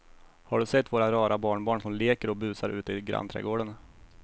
Har du sett våra rara barnbarn som leker och busar ute i grannträdgården!